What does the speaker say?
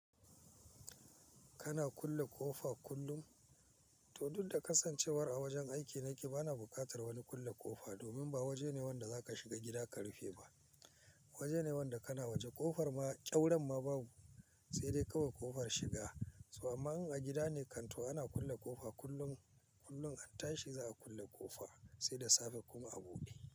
Kana kulle ƙofa kullum? To duk da kasancewar a wajen aiki ne kike, bana buƙatar wani kulle ƙofa, domin ba waje ne wanda za ka shiga gida ka rufe ba. Waje ne wanda kana waje ƙofar ma kyauta ma babu, sai dai kawai ƙofar shiga. To amma in a gida ne kanto ana kulle ƙofa kullum, kullum a tashi za a kulle ƙofa sai da safe kun abude.